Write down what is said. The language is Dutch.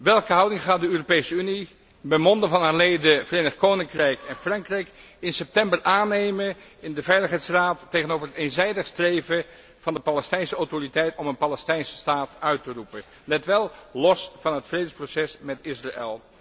Welke houding gaat de Europese Unie, bij monde van haar leden, het Verenigd Koninkrijk en Frankrijk, in september aannemen in de Veiligheidsraad tegenover het eenzijdig streven van de Palestijnse autoriteit om een Palestijnse staat uit te roepen, let wel, los van het vredesproces met Israël?